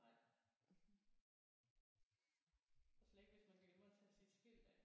Nej og slet ikke hvis man glemmer at tage sit skilt af